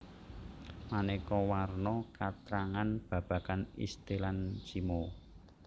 Maneka warna katrangan babagan istilan simo